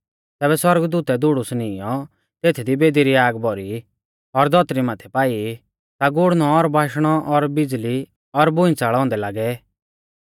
तैबै सौरगदूतै धूड़ुस नीईंयौ तेथदी बेदी री आग भौरी और धौतरी माथै पाई ता गुड़णौ और बाशणौ और बिज़ल़ी और भूइंच़ल़ औन्दै लागै